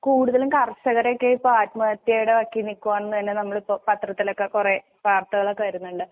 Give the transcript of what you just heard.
കൂടുതലും കർഷകരക്കെയിപ്പോ ആത്മത്യടെ വക്കിൽനിക്കുവാന്നന്നെ നമ്മളിപ്പോ പത്രത്തിലൊക്കെ കൊറേ വാർത്തകളൊക്കെ വരുന്നുണ്ട്.